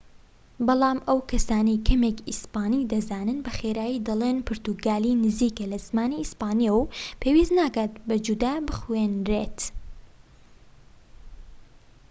بەڵام ئەو کەسانەی کەمێك ئیسپانی دەزانن بە خێرایی دەڵین پورتوگالی نزیکە لە زمانی ئیسپانیەوە و پێویست ناکات بە جودا بخوێنرێت